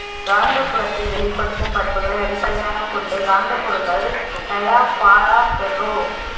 காந்தபுலத்தில் வெளிப்படுத்தும் பண்புகளை அடிப்படையாகக் கொண்டு காந்தப் பொருள்கள்